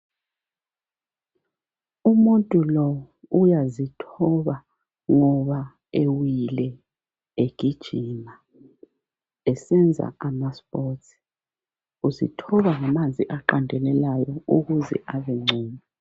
Umuntu lo uyazithoba ngoba ewile, egijima esenza amaspotsi. Uzithoba ngamanzi aqandelelayo ukuze abe ngcono.